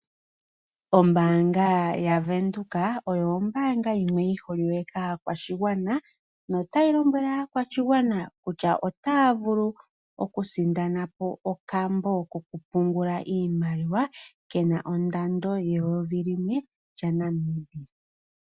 Ombaanga yaVEnduka oyo ombaanga yimwe yi holike kaakwashigwana notayi lombwele aakwashigwana kutya otaya vulu okusindana po okambo kokupungula iimaliwa ke na ongushu yeyovi limwe lyaNamibia.